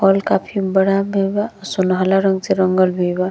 Hall काफी बड़ा भी बा आ सुनहला रंग से रंगल भी बा।